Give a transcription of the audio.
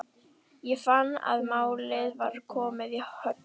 Ég fann að málið var að komast í höfn.